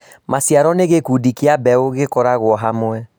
Maciaro nĩ gĩkundi kĩa mbeũ ikoragwo hamwe